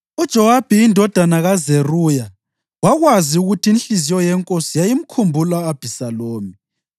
UJowabi indodana kaZeruya wakwazi ukuthi inhliziyo yenkosi yayimkhumbula u-Abhisalomu.